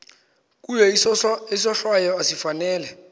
kuye isohlwayo esifanele